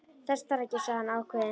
Þess þarf ekki, sagði hann ákveðinn.